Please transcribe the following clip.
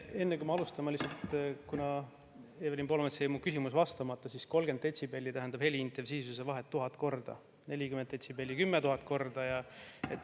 Enne, kui ma alustan, ma lihtsalt, kuna Evelin Poolametsal jäi mu küsimusele vastamata: 30 detsibelli tähendab heliintensiivsuse vahet 1000 korda, 40 detsibelli 10 000 korda.